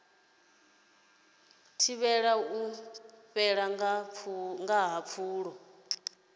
thivhele u fhela ha pfulo